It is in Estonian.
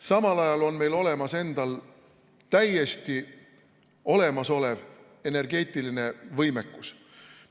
Samal ajal on meil endal täiesti olemas energeetiline võimekus.